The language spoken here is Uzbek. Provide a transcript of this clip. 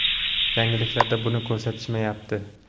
Yangiliklarda buni ko‘rsatishmayapti.